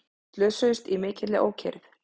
Slösuðust í mikilli ókyrrð